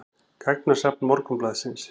Gagnasafn Morgunblaðsins.